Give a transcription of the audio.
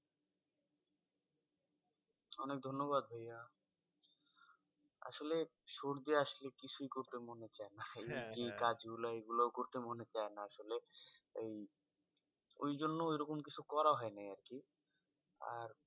অনেক ধন্যবাদ ভাইয়া। আসলে সর্দি আসলে কিছুই করতে মনে চায়না। এই কাজগুলো এইগুলো ও করতে মনে চায়না। আসলে এই ওইজন্য ওইরকম কিছু করা হয় নাই আরকি। আর